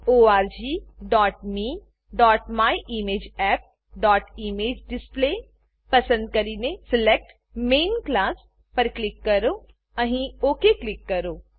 orgmemyimageappઇમેજેડિસપ્લે પસંદ કરીને select main class select main class પર ક્લિક કરો અહીં ઓક ક્લિક કરો